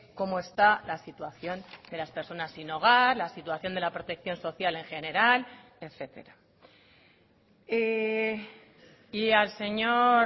cómo está la situación de las personas sin hogar la situación de la protección social en general etcétera y al señor